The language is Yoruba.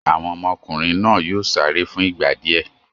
Àwọn ọmọkùnrin náà yóò sáré fún ìgbà díẹ̀!